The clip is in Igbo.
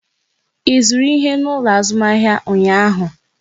Ị zụrụ ihe n'ụlọ azụmahịa ụnyaahụ?